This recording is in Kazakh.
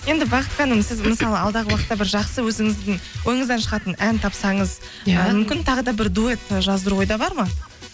енді бақыт ханым сіз мысалы алдағы уақытта бір жақсы өзіңіздің ойыңыздан шығатын ән тапсаңыз мүмкін тағы да бір дуэт жаздыру ойда бар ма